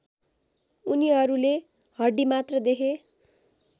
उनीहरूले हड्डीमात्र देखे